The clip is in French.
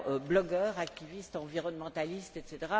Blogueurs, activistes, environnementalistes, etc.